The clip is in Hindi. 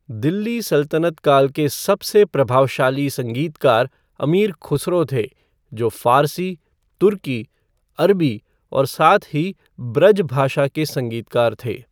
दिल्ली सल्तनत काल के सबसे प्रभावशाली संगीतकार अमीर खुसरो थे, जो फ़ारसी, तुर्की, अरबी और साथ ही ब्रज भाषा के संगीतकार थे।